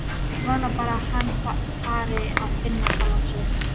Ég vona bara að hann fari að finna sjálfan sig.